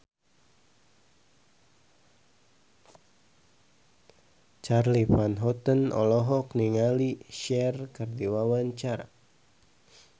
Charly Van Houten olohok ningali Cher keur diwawancara